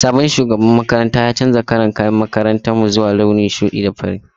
Sabon shugaban makarantar ya canza kalar kayan makarantar mu zuwa launin ruwan kasa.